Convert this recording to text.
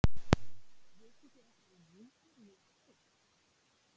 vitið þið eitthvað um nígeríu í afríku